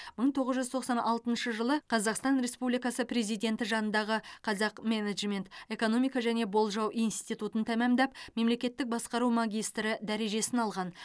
мың тоғыз жүз тоқсан алтыншы жылы қазақстан республикасы президенті жанындағы қазақ менеджмент экономика және болжау институтын тамамдап мемлекеттік басқару магистрі дәрежесін алған